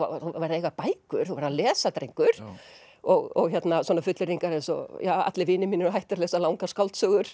eiga bækur þú að lesa drengur og svona fullyrðingar eins og allir vinir mínir eru hættir að lesa langar skáldsögur